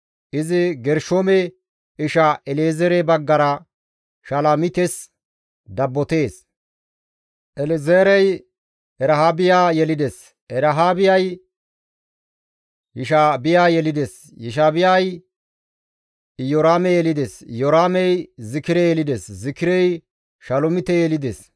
Izi Gershoome isha El7ezeere baggara Shalomites dabbotees; El7ezeerey Erahaabiya yelides; Erahaabiyay Yesha7iya yelides; Yesha7iyay Iyoraame yelides; Iyoraamey Zikire yelides; Zikirey Shalomite yelides.